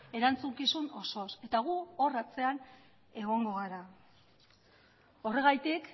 erantzukizun osoz eta gu hor atzean egongo gara horregatik